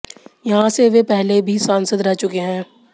यहां से वे पहले भी सांसद रह चुके हैं